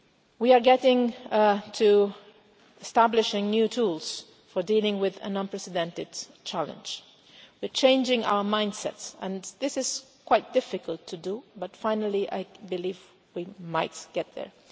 We are getting to establish new tools for dealing with an unprecedented challenge, we are changing our mind sets, and this is quite difficult to do but finally I believe we might get there.